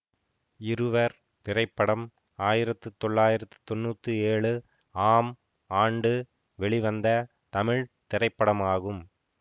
இருவர் திரைப்படம் ஆயிரத்தி தொள்ளாயிரத்தி தொன்னூத்தி ஏழு ஆம் ஆண்டு வெளிவந்த தமிழ் திரைப்படமாகும்